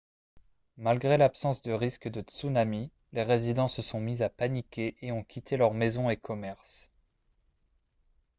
malgré l'absence de risque de tsunami les résidents se sont mis à paniquer et ont quitté leurs maisons et commerces